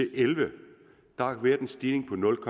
elleve har været en stigning på nul